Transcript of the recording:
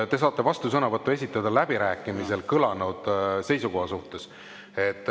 Te saate vastusõnavõtu esitada läbirääkimistel kõlanud seisukoha suhtes.